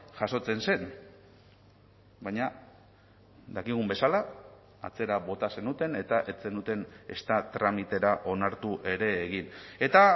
jasotzen zen baina dakigun bezala atzera bota zenuten eta ez zenuten ezta tramitera onartu ere egin eta